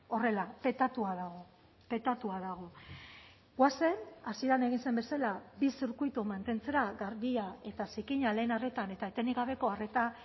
horrela petatua dago petatua dago goazen hasieran egin zen bezala bi zirkuitu mantentzera garbia eta zikina lehen arretan eta etenik gabeko arreta